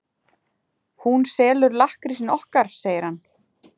Hún selur lakkrísinn okkar, segir hann.